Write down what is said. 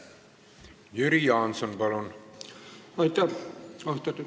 Jüri Jaanson, palun!